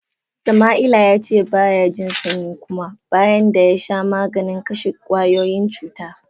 Sama'ila ya ce ba ya jin sanyi kuma, bayan da ya sha maganin kashe kwayoyin cuta.